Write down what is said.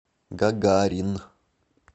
гагарин